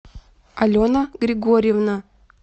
алена григорьевна